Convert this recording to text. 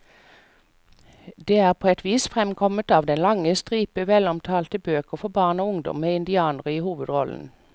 Det er på et vis fremkommet av den lange stripe velomtalte bøker for barn og ungdom med indianere i hovedrollen.